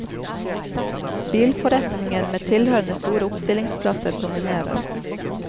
Bilforretninger med tilhørende store oppstillingsplasser dominerer.